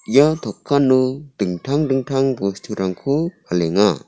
ia takano dingtang dingtang bosturangko palenga.